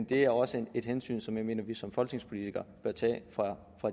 det er også et hensyn som jeg mener vi som folketingspolitikere